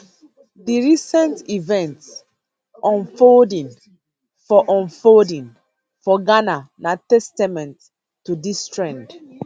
di recent events unfolding for unfolding for ghana na testament to dis trend